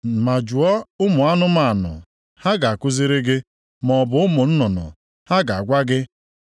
“Ma jụọ ụmụ anụmanụ, ha ga-akụziri gị, maọbụ ụmụ nnụnụ, ha ga-agwa gị.